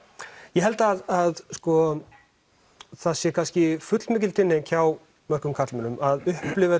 ég held að það sé kannski fullmikil tilhneiging hjá karlmönnum að upplifa